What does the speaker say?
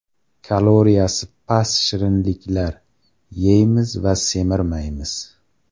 Kaloriyasi past shirinliklar: yeymiz va semirmaymiz.